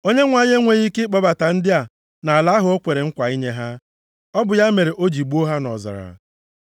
‘ Onyenwe anyị enweghị ike ịkpọbata ndị a nʼala ahụ o kwere nkwa inye ha. Ọ bụ ya mere o ji gbuo ha nʼọzara.’